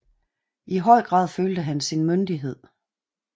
I høj grad følte han sin myndighed